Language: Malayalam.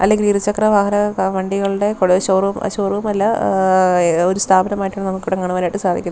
അല്ലെങ്കിൽ ഇരുചക്ര വാഹനങ്ങ വണ്ടികളുടെ കൂട് ഷോറൂം ഷോറൂം അല്ല ഏവ് ഒരു സ്ഥാപനമായിട്ട് നമുക്ക് ഇവിടെ കാണുവാൻ ആയിട്ട് സാധിക്കും.